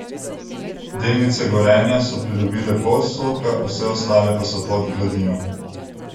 Delnice Gorenja so pridobile pol odstotka, vse ostale pa so pod gladino.